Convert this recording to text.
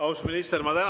Austatud minister!